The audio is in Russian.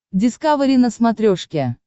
дискавери на смотрешке